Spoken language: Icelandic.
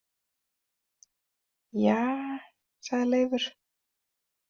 Ja, sagði Leifur.